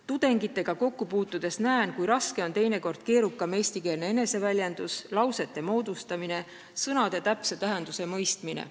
Tudengitega kokku puutudes näen, kui raske on neile teinekord keerukam eestikeelne eneseväljendus, lausete moodustamine, sõnade täpse tähenduse mõistmine.